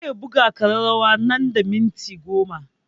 Zai buga ƙararrawa nan da minti goma